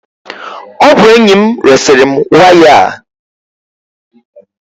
Ọ bụ enyi m resiri m waya a.